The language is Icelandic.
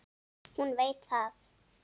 Hún veit það.